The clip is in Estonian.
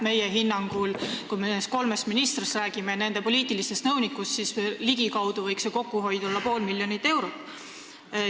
Kui me räägime nendest kolmest ministrist ja nende poliitilistest nõunikest, siis meie hinnangul võiks kokkuhoid olla ligikaudu pool miljonit eurot.